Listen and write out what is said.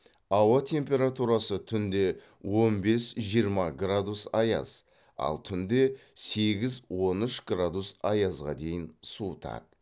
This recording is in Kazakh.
ауа температурасы түнде он бес жиырма градус аяз ал түнде сегіз он үш градус аязға дейін суытады